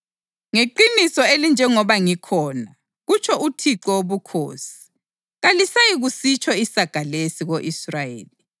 Ngeqiniso elinjengoba ngikhona, kutsho uThixo Wobukhosi, kalisayikusitsho isaga lesi ko-Israyeli.